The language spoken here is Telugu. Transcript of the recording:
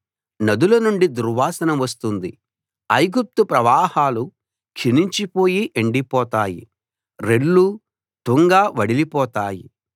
నదుల నుండి దుర్వాసన వస్తుంది ఐగుప్తు ప్రవాహాలు క్షీణించి పోయి ఎండిపోతాయి రెల్లూ తుంగా వడిలిపోతాయి